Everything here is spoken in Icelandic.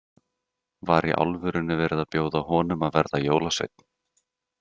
Var í alvörunni verið að bjóða honum að verða jólasveinn?